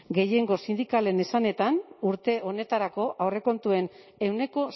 gehiengo sindikalen esanetan urte honetarako aurrekontuen ehuneko